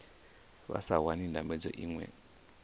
vha sa wani ndambedzo iṅwe